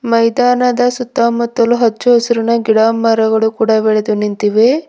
ಮೈದಾನದ ಸುತ್ತಮುತ್ತಲು ಹಚ್ಚು ಹಸುರಿನ ಗಿಡ ಮರಗಳು ಕೂಡ ಬೆಳೆದು ನಿಂತಿವೆ.